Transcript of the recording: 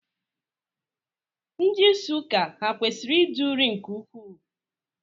Ndị isi ụka ha kwesịrị ide uri nke ukwuu?